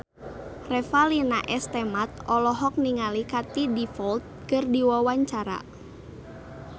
Revalina S. Temat olohok ningali Katie Dippold keur diwawancara